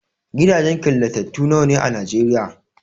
Gidajen killatattu nawa ne a Nigeria?